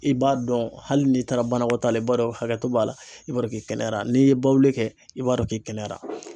I b'a dɔn hali n'i taara banakɔtaa la i b'a dɔn hakɛto b'a la i b'a dɔn k'i kɛnɛyara, n'i ye bawuli kɛ i b'a dɔn k'i kɛnɛyara.